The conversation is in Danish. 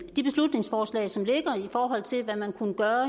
de beslutningsforslag som ligger i forhold til hvad man kunne gøre